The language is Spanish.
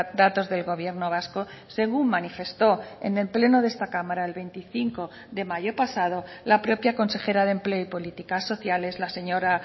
datos del gobierno vasco según manifestó en el pleno de esta cámara el veinticinco de mayo pasado la propia consejera de empleo y políticas sociales la señora